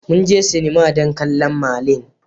Mun je sinima don kallon Merlin.